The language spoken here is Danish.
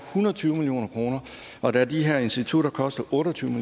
hundrede og tyve million kroner og da de her institutter koster otteogtyvende